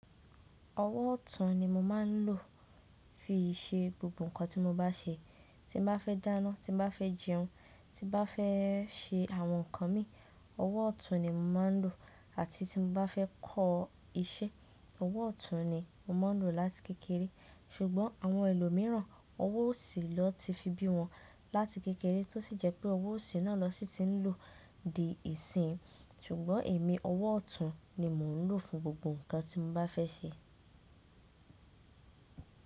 Ọwọ́ ọ̀tún ni mo máa ń lò fi ṣe gbogbo nǹkan tí mo bá ṣe. Ti mo bá fẹ́ dáná, ti mo bá fẹ́ jí ọrún, ti mo bá fẹ́ ṣe àwọn nǹkan mi, ọwọ́ ọ̀tún ni mo máa ń lò àti tí mo bá fẹ́ kọ́ iṣẹ́, ọwọ́ ọ̀tún ni mo máa ń lò láti kékeré. Sùgbọ́n àwọn ẹlòmíràn, ọwọ́ ọ̀sì lọ ti fi bí wọn láti kékeré tó sì jẹ́ pé ọwọ́ ọ̀sì náà lọ sí ti ń lò di ìsinyi. Sùgbọ́n èmi, ọwọ́ ọ̀tún ni mo ń lò fún gbogbo nǹkan tí mo bá fẹ́ ṣe.